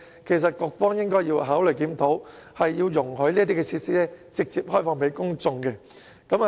其實，局方應該考慮作出檢討，容許這些設施直接開放給公眾使用。